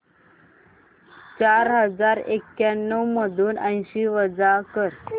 चार हजार एक्याण्णव मधून ऐंशी वजा कर